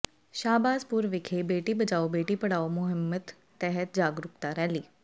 ਸ਼ਾਹਬਾਜ਼ਪੁਰ ਵਿਖੇ ਬੇਟੀ ਬਚਾਓ ਬੇਟੀ ਪੜ੍ਹਾਓ ਮੁਹਿੰਮ ਤਹਿਤ ਜਾਗਰੂਕਤਾ ਰੈਲੀ